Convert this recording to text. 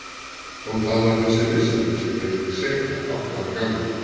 Og það var þessi vissa mín sem gerði mig seka átta ára gamla.